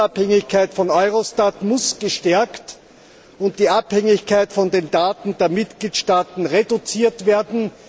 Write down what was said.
Die Unabhängigkeit von Eurostat muss gestärkt und die Abhängigkeit von den Daten der Mitgliedstaaten reduziert werden.